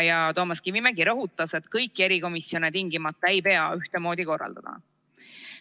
Toomas Kivimägi rõhutas, et kõiki erikomisjone ei pea tingimata ühtemoodi korraldama.